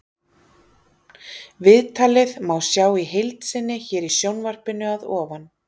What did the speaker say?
Viðtalið má sjá í heild sinni hér í sjónvarpinu að ofan.